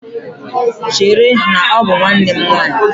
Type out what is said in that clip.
Chere, na ọ bụ nwanne nwaanyị!